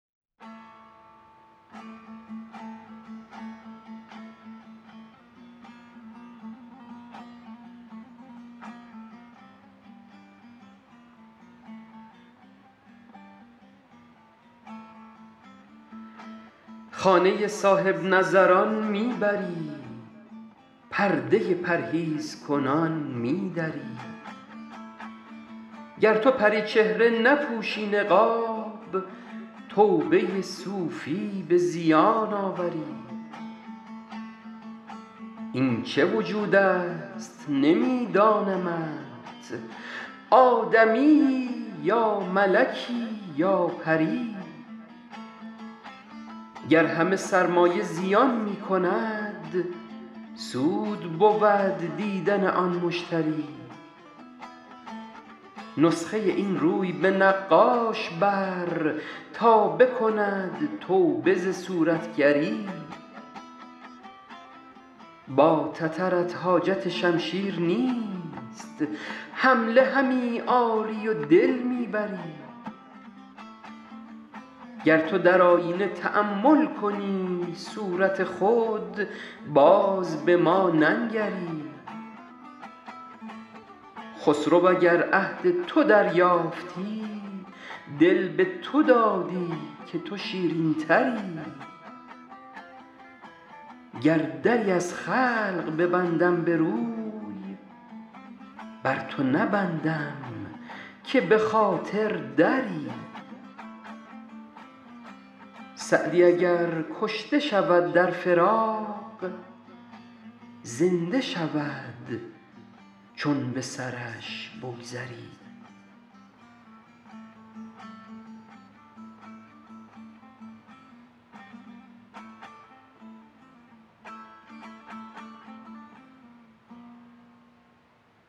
خانه صاحب نظران می بری پرده پرهیزکنان می دری گر تو پری چهره نپوشی نقاب توبه صوفی به زیان آوری این چه وجود است نمی دانمت آدمیی یا ملکی یا پری گر همه سرمایه زیان می کند سود بود دیدن آن مشتری نسخه این روی به نقاش بر تا بکند توبه ز صورتگری با تترت حاجت شمشیر نیست حمله همی آری و دل می بری گر تو در آیینه تأمل کنی صورت خود باز به ما ننگری خسرو اگر عهد تو دریافتی دل به تو دادی که تو شیرین تری گر دری از خلق ببندم به روی بر تو نبندم که به خاطر دری سعدی اگر کشته شود در فراق زنده شود چون به سرش بگذری